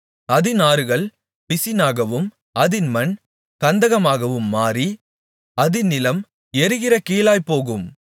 அதின் ஆறுகள் பிசினாகவும் அதின் மண் கந்தகமாகவும் மாறி அதின் நிலம் எரிகிற கீலாய்ப்போகும்